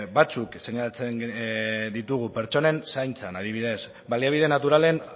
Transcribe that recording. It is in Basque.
batzuk seinalatzen ditugu pertsonen zaintzan adibidez baliabide naturalen